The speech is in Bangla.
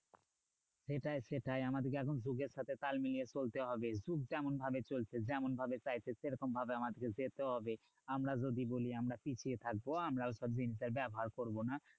সেটাই সেটাই আমাদেরকে এখন যুগের সাথে তাল মিলিয়ে চলতে হবে। যুগ যেমন ভাবে চলছে যেমন ভাবে চাইছে সেরকমভাবে আমাদের যেতে হবে। আমরা যদি বলি আমরা পিছিয়ে থাকবো। আমরাও ওসব জিনিসের ব্যবহার করবো না,